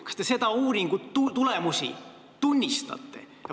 Kas te selle uuringu tulemusi tunnistate?